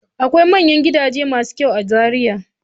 Akwai manyan gidaje masu kyau a Zariya.